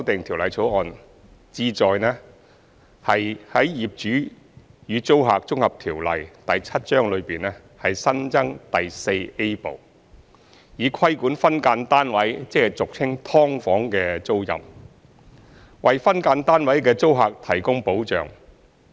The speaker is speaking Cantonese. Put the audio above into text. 《條例草案》旨在於《業主與租客條例》內新增第 IVA 部，以規管分間單位的租賃，為分間單位的租客提供保障。